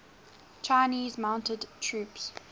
chinese mounted troops